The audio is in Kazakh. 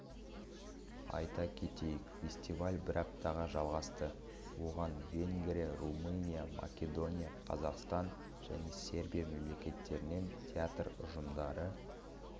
айта кетейік фестиваль бір аптаға жалғасты оған венгрия румыния македония қазақстан және сербия мемлекеттерінен театр ұжымдары